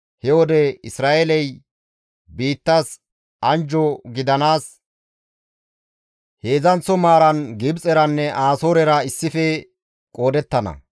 He wode Isra7eeley biittas anjjo gidanaas heedzdzanththo maaran Gibxeranne Asoorera issife qoodettana.